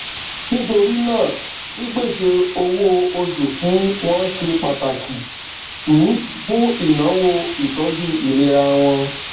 nítorí náà pípèsè owó oṣù fún wọn ṣe pàtàkì um fún ìnáwó ìtọjú ìlera wọn